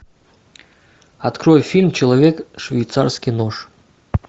открой фильм человек швейцарский нож